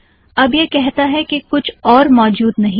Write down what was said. अब यह कहता है कि कुछ और मौजूद नहीं है